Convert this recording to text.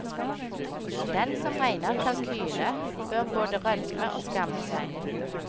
Den som regner kalkyle, bør både rødme og skamme seg.